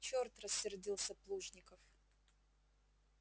черт рассердился плужников